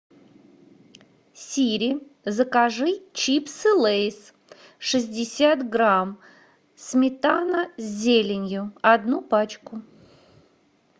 сири закажи чипсы лейс шестьдесят грамм сметана с зеленью одну пачку